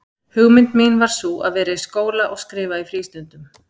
Hugmynd mín var sú, að vera í skóla og skrifa í frístundum.